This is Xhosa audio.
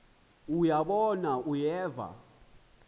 uya bona uyeva